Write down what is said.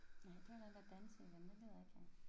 Nej det var den der danse igen den gider jeg ikke have